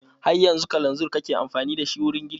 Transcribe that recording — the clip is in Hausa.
Har yanzu kalanzir kake amfani da shi wurin girki?